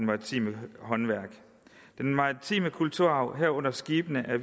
maritime håndværk den maritime kulturarv herunder skibene er